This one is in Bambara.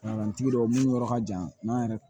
tigi dɔw minnu yɔrɔ ka jan n'an yɛrɛ